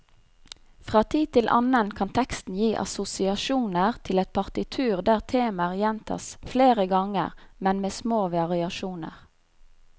Fra tid til annen kan teksten gi assosiasjoner til et partitur der temaer gjentas flere ganger, men med små variasjoner.